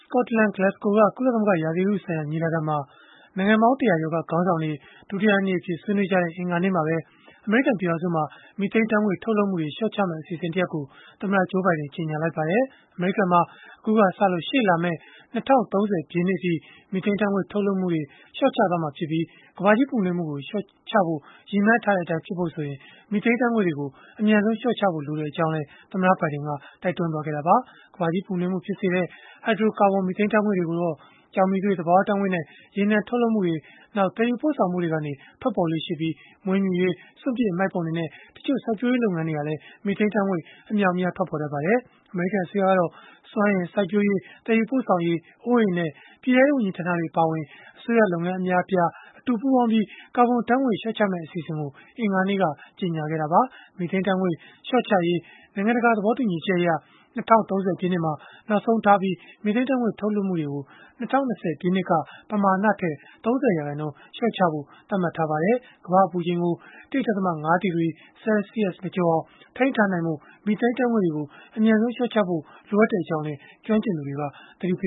ကော့တလန်၊ Glasgow က ကုလသမဂ္ဂ ရာသီဥတုဆိုင်ရာ ညီလာခံမှာ နိုင်ငံပေါင်း ၁၀၀ ကျော်က ခေါင်းဆောင်တွေ ဒုတိယနေ့အဖြစ် ဆွေးနွေးကြတဲ့ အင်္ဂါနေ့မှာပဲ အမေရိကန် ပြည်ထောင်စုမှာ မီသိန်းဓာတ်ငွေ့ ထုတ်လုပ်မှုတွေ လျှော့ချမယ့် အစီအစဉ် တရပ်ကို သမ္မတ Joe Biden ကြေညာလိုက်ပါတယ်။ အမေရိကန်မှာ အခုကစပြီး ရှေ့လာမယ့် ၂၀၃၀ ပြည့်နှစ်အထိ မီသိန်းဓာတ်ငွေ့ ထုတ်လွှတ်မှုတွေ လျှော့ချသွားမှာဖြစ်ပြီး၊ ကမ္ဘာကြီးပူနွေးမှုကို လျှော့ချဖို့ ရည်မှန်းထားတဲ့အတိုင်း ဖြစ်လာဖို့ဆိုရင် မီသိန်းဓာတ်ငွေတွေကို အမြန်ဆုံး လျှော့ချဖို့ လိုအပ်ကြောင်းလည်း သမ္မတဘိုင်ဒင်က တိုက်တွန်းခဲ့တာပါ။ ကမ္ဘာကြီးပူနွေးမှု ဖြစ်စေတဲ့ ဟိုက်ဒြိုကာဗွန် မီသိန်းဓာတ်ငွေ့တွေကိုတော့ ကျောက်မီးသွေး၊ သဘာဝဓာတ်ငွေ့နဲ့ ရေနံ ထုတ်လုပ်မှုနဲ့ သယ်ယူပို့ဆောင်မှုတွေကနေ ထွက်ပေါ်လေ့ရှိပြီး၊ မွေးမြူရေး၊ စွန့်ပစ်အမှိုက်ပုံတွေနဲ့ တချို့စိုက်ပျိုးရေး လုပ်ငန်းတွေဟာလည်း မီသိန်းဓာတ်ငွေ အမြောက်အများ ထွက်ပေါ်တတ်ပါတယ်။ အမေရိကန် အစိုးရကတော့ စွမ်းအင်၊ စိုက်ပျိုးရေး၊ သယ်ယူပို့ဆောင်ရေး၊ အိုးအိမ်နဲ့ ပြည်ထဲရေး ဝန်ကြီးဌာနတွေ အပါအဝင် အစိုးရလုပ်ငန်း အများအပြား အတူပူးပေါင်းပြီး ကာဗွန်ဓာတ်ငွေ့ လျှော့ချရေး အစီအစဉ်ကို အင်္ဂါနေ့ကပဲ ကြေညာခဲ့တာပါ။ မီသိန်းဓာတ်ငွေ့ လျှော့ချရေး နိုင်ငံတကာ သဘောတူညီချက်အရ ၂၀၃၀ ပြည့်နှစ်မှာ နောက်ဆုံးထားပြီး မီသိန်းဓာတ်ငွေ့ ထုတ်လွှတ်မှုတွေကို ၂၀၂၀ ပြည့်နှစ်က ပမာဏထက် ၃၀ ရာခိုင်နှုန်း လျှော့ချဖို့ သတ်မှတ်ထားပါတယ်။ ကမ္ဘာ့အပူချိန်ကို ၁ ဒသမ ၅ ဒီဂရီ Celsius မကျော်အောင် ထိန်းထားနိုင်ဖို့ မီသိန်းဓာတ်ငွေ့တွေကို အမြန်ဆုံး လျှော့ချဖို့ လိုအပ်ကြောင်း ကျွမ်းကျင်သူတွေ သတိပ